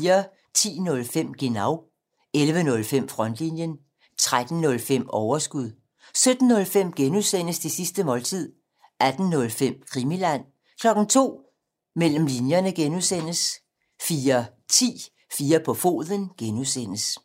10:05: Genau 11:05: Frontlinjen 13:05: Overskud 17:05: Det sidste måltid (G) 18:05: Krimiland 02:00: Mellem linjerne (G) 04:10: 4 på foden (G)